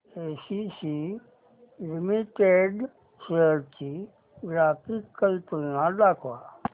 ACC limited shares ची graphical तुलना दाखव